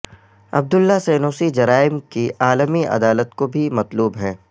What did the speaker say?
عبداللہ al Senussi جرائم کی عالمی عدالت کو بھی مطلوب ہیں